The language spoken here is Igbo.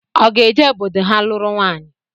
Ọ ga-eje obodo ha lụrụ nwaịyi